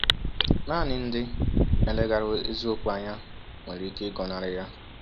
Naanị ndị na-eleghara eziokwu anya nwere ike ịgọnarị ya!